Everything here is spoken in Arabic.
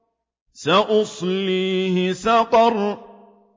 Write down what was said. سَأُصْلِيهِ سَقَرَ